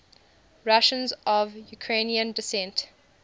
russians of ukrainian descent